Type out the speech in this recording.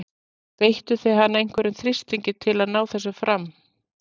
Beittu þið hann einhverjum þrýstingi til þess að ná þessu fram?